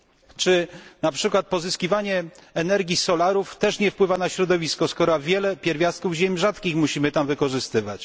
Czy na przykład pozyskiwanie energii z systemów solarnych też nie wpływa na środowisko, skoro wiele pierwiastków ziem rzadkich musimy w nich wykorzystywać?